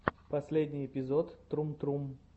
последний эпизод трум трум